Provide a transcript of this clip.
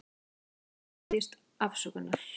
Borgarstjóri biðjist afsökunar